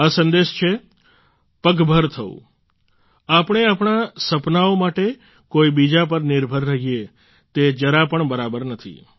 આ સંદેશ છે પગભર થવુંઆપણે આપણા સપનાઓ માટે કોઈ બીજા પર નિર્ભર રહીએ તે જરાપણ બરાબર નથી